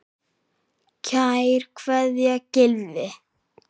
Kær kveðja, Gylfi.